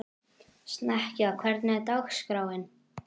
Snekkja, hvernig er dagskráin?